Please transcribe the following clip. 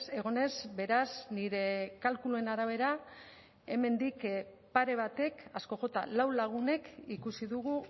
egon ez beraz nire kalkuluen arabera hemendik pare batek asko jota lau lagunek ikusi dugu